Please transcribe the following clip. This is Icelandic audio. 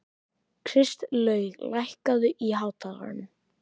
Kristlaug, lækkaðu í hátalaranum.